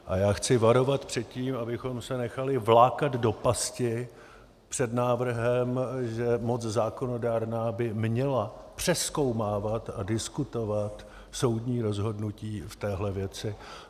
A já chci varovat před tím, abychom se nechali vlákat do pasti, před návrhem, že moc zákonodárná by měla přezkoumávat a diskutovat soudní rozhodnutí v téhle věci.